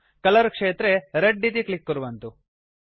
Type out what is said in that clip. colour क्षेत्रे red इति click कुर्वन्तु